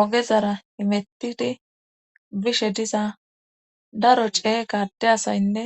Ogezara imettidi bishe diza daro cee gadde asaynne